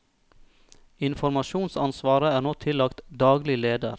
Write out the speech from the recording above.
Informasjonsansvaret er nå tillagt daglig leder.